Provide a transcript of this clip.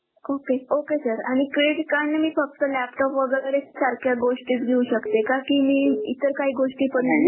OkayOkay sir आणि Credit card ने मी फक्त Laptop वेगेरे च सारख्या गोष्टीच घेऊ शकते का की मी इतर काही गोष्टी पण,